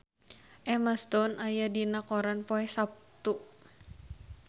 Emma Stone aya dina koran poe Saptu